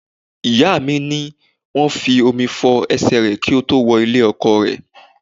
Ìyá mi ní wọ́n fi omi fo ẹsẹ rẹ ki ó tó wo ilé-ọkọ rẹ̀.